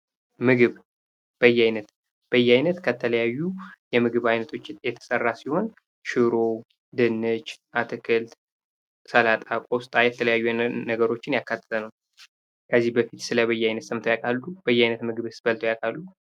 ምግብ በየአይነት በየአይነት ከተለያዩ የምግብ አይነቶች የተሰራ ሲሆን ሽሮ፣ ድንች፣ አትክልት፣ ሰላጣ፣ ቆስጣ የተለያዩ ነገሮችን ያካተተ ነው። ከዚህ በፊት ስለበየአይነት ሰምተው ያውቃሉ? በየአይነ ምግብስ በልተው ያውቃሉ?